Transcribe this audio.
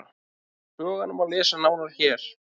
um sögurnar má lesa nánar hér